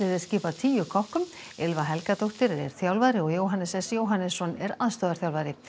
er skipað tíu Ylfa Helgadóttir er þjálfari og Jóhannes s Jóhannesson er aðstoðarþjálfari